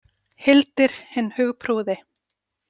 Hildir hinn hugprúði.